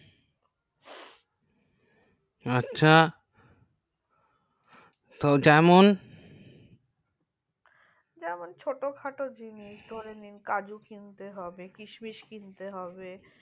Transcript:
আচ্ছা তো জেমন ছোট খাটো জিনিয়া কাজু কিনতে হবে কিসমিস কিনতে হবে